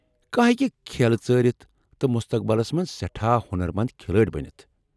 کانٛہہ ہیٚکہ کھیلہٕ ژٲرِتھ تہٕ مُستقبلس منز سیٹھاہ ہۄنرمند كھِلٲڈ بنِتھ ۔